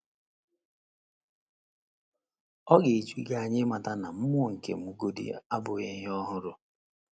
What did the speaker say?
Ọ̀ ga - eju gị anya ịmata na mmụọ nke m godị abụghị ihe ọhụrụ?